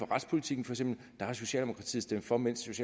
retspolitikken har socialdemokratiet stemt for mens